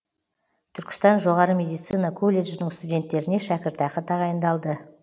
түркістан жоғары медицина колледжінің студенттеріне шәкіртақы тағайындалды